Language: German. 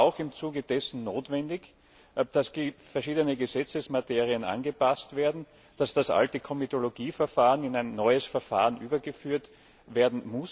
Es ist aber auch im Zuge dessen notwendig, dass verschiedene Gesetzesmaterien angepasst werden, dass das alte Komitologieverfahren in ein neues Verfahren überführt wird.